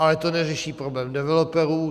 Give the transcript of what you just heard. Ale to neřeší problém developerů.